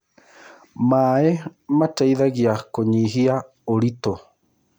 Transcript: Maĩ mateĩthagĩa kũyĩhĩa ũrĩtũ